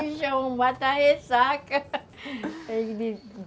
já é um mata-ressaca